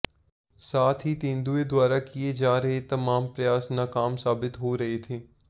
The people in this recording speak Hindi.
साथ ही तेंदुए द्वारा किये जा रहे तमाम प्रयास नाकाम साबित हो रहे थे